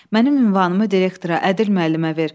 Mənim ünvanımı direktora, Ədil müəllimə ver.